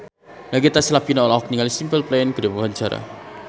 Nagita Slavina olohok ningali Simple Plan keur diwawancara